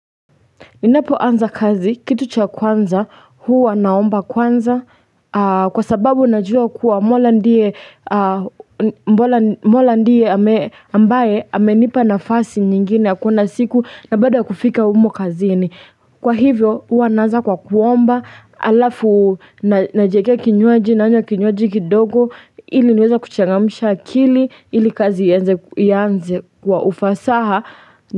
Ninapoanza kazi kitu cha kwanza huwa naomba kwanza kwa sababu najua kuwa mola ndiye mola ndiye ambaye amenipa nafasi nyingine ya kuona siku na bado ya kufika humo kazini. Kwa hivyo huwa naanza kwa kuomba alafu najiekea kinywaji nanywa kinywaji kidogo ili niweze kuchangamsha akili ili kazi ianze kwa ufasaha.